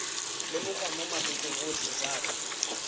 lemogwa mo mabakeng otlhe jaaka